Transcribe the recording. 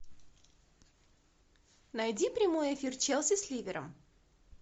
найди прямой эфир челси с ливером